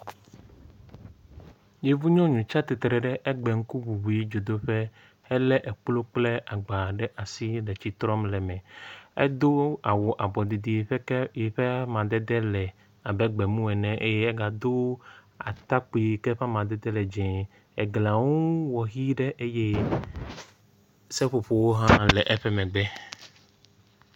Yevunyɔnu tsi atsitre ɖe egbe ŋkuŋuŋui dzodoƒe helé ekplu kple agba ɖe asi le tsi trɔm le eme. Edo awu abɔ ɖiɖi ƒe ke yi ke le amadede le abe gbe mu ene eye egado atakpui ke ƒe amadede le dzɛ̃, eglia ŋu wɔ hi ɖe eye seƒoƒo hã le eƒe megbe.